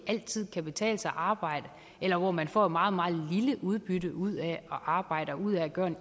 altid kan betale sig at arbejde eller hvor man får et meget meget lille udbytte ud af at arbejde og ud af at gøre en